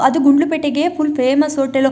ಅದು ಗುಂಡ್ಲುಪೇಟೆಗೆ full famous hotel .